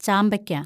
ചാമ്പയ്ക്ക